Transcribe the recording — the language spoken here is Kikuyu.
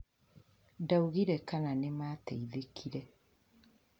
Ndaugire kana nĩmateithĩkire